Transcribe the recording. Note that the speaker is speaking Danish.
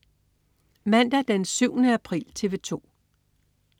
Mandag den 7. april - TV 2: